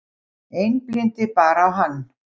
Einblíndi bara á hann.